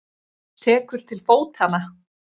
Tekur til fótanna.